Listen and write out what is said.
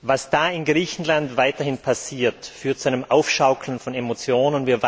Was da in Griechenland weiterhin passiert, führt zu einem Aufschaukeln von Emotionen.